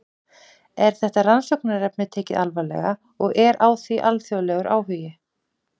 Er þetta rannsóknarefni tekið alvarlega og er á því alþjóðlegur áhugi?